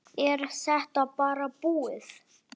Er þetta bara búið?